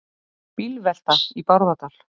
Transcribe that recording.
Bílvelta í Bárðardal